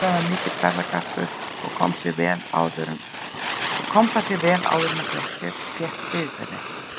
Ólafur var mikill ferðagarpur og kom það sér vel áður en hann fékk bifreið.